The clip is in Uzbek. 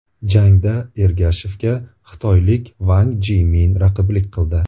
Jangda Ergashevga xitoylik Vang Jimin raqiblik qildi.